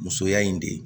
Musoya in de